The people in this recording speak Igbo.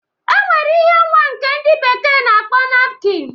E nwere ihe nwa nke ndị bekee na-akpọ napkịn.